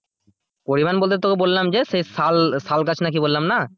পরিমান বলতে তোকে বললাম যে সেই শাল, শাল গাছ নাকি কি বললাম না